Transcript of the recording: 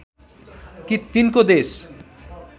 कि तिनको देश